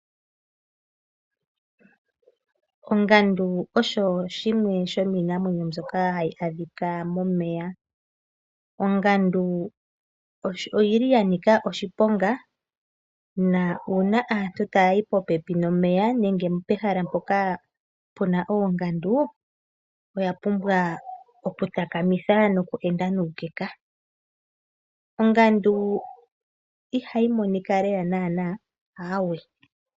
Ongandu osho oshinamwenyo shimwe shoka hashii adhika momeya. Ongandu oya nika oshiponga na aantu ngele taya yi po pepi nomeya nenge pehala mpoka puna oongandu, oya pumbwa oku takamitha noku enda nuukeka. Ongandu ihayi monika lela naana, aawe.